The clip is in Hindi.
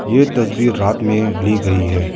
यह तस्वीर रात में ली गई है।